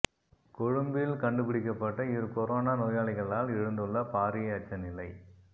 கொழும்பில் கண்டுபிடிக்கப்பட்ட இரு கொரோனா நோயாளிகளால் எழுந்துள்ள பாரிய அச்ச நிலை